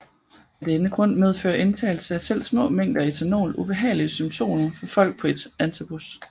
Af denne grund medfører indtagelse af selv små mængder ethanol ubehagelige symptomer for folk på antabus